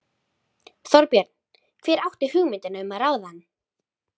Þorbjörn: Hver átti hugmyndina um að ráða hann?